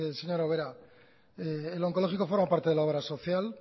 señora ubera el oncológico forma parte de la obra social